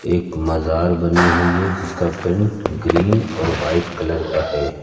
एक मजार बनी हुई है जिसका पेंट ग्रीन और वाइट कलर का है।